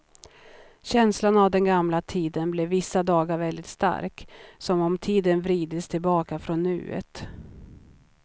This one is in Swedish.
Känslan av den gamla tiden blev vissa dagar väldigt stark, som om tiden vridits tillbaka från nuet.